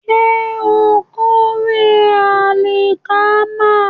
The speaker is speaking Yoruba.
Ṣé ó ń kórè àlìkámà?